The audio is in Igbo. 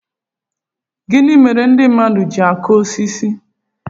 Gịnị mere ndị mmadụ ji akụ osisi